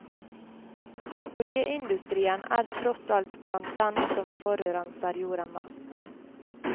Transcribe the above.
Oljeindustrien er tross alt blant dem som forurenser jorden mest.